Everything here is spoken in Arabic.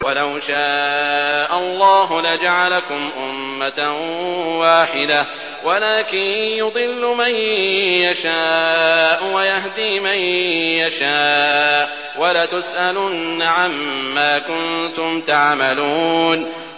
وَلَوْ شَاءَ اللَّهُ لَجَعَلَكُمْ أُمَّةً وَاحِدَةً وَلَٰكِن يُضِلُّ مَن يَشَاءُ وَيَهْدِي مَن يَشَاءُ ۚ وَلَتُسْأَلُنَّ عَمَّا كُنتُمْ تَعْمَلُونَ